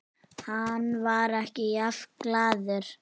Hann var ekki jafn glaður.